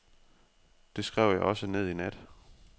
Det skrev jeg også ned i nat.